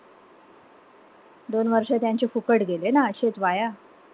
दोन वर्ष त्यांचे फुकट गेले ना अशेच वाया.